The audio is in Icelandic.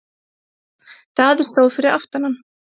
Daði stóð fyrir aftan hann.